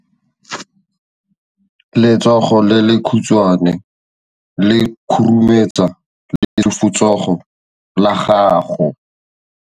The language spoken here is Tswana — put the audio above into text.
Letsogo le lekhutshwane le khurumetsa lesufutsogo la gago.